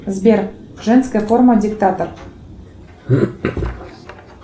сбер женская форма диктатор